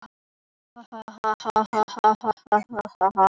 Átti hún ekki að harma hold sitt og blóð?